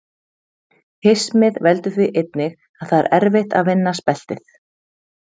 Hismið veldur því einnig að það er erfitt að vinna speltið.